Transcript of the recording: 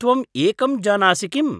त्वम् एकं जानासि किम्?